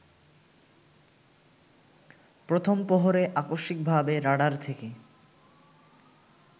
প্রথম প্রহরে আকস্মিকভাবে রাডার থেকে